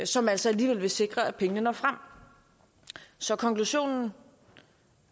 som altså alligevel vil sikre at pengene når frem så konklusionen